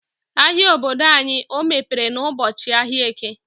Ahia obodo anyị ọ mepere n'ụbọchị ahịa Eke.